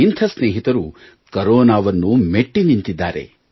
ಇಂಥ ಸ್ನೇಹಿತರು ಕರೋನಾವನ್ನು ಮೆಟ್ಟಿ ನಿಂತಿದ್ದಾರೆ